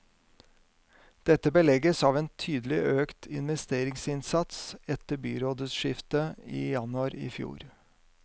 Dette belegges av en tydelig økt investeringsinnsats etter byrådsskiftet i januar i fjor.